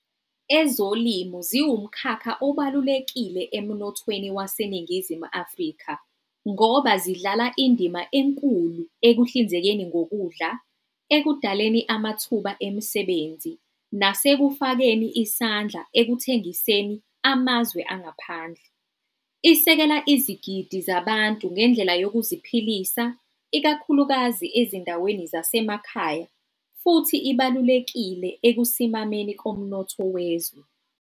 Ezolimo ziwu mkhakha obalulekile emnothweni waseNingizimu Afrika ngoba zidlala indima enkulu ekuhlinzekeni ngokudla, ekudaleni amathuba emisebenzi nasekufakeni isandla ekuthengiseni amazwe angaphandle. Isekela izigidi zabantu ngendlela yokuziphilisa ikakhulukazi ezindaweni zasemakhaya futhi ibalulekile ekusimameni komnotho wezwe.